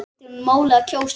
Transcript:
Skiptir máli að kjósa?